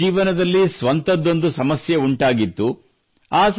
college ಜೀವನದಲ್ಲಿ ಸ್ವಂತದ್ದೊಂದು ಸಮಸ್ಯೆ ಉಂಟಾಗಿತ್ತು